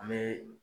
An bɛ